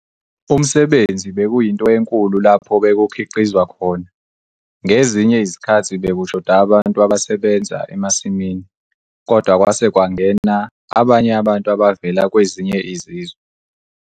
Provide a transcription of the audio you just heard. Umsebenzi bekuyinto enkulu lapho bekukhiqizwa khona. Ngezinye izikhathi bekushoda abantu abasebenza emasimini, kodwa kwase kwangena abanye abantu abavela kwezinye izizwe.